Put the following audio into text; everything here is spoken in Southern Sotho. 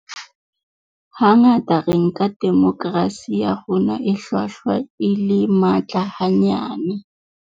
Hangata re nka demokerasi ya rona e hlwahlwa le e matla hanyane.